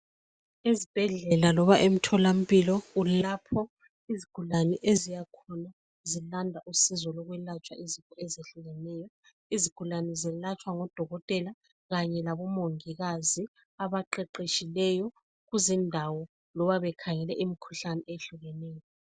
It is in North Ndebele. Ezibhedlela loba emtholampilo kulapho izigulane eziyakhona zilanda usizo lokwelatshwa izifo ezihlukeneyo, izigulane zelatshwa ngodokotela kanye labomongikazi abaqeqetshileyo kuzindawo loba bekhangele imikhuhlane ehlukeneyo.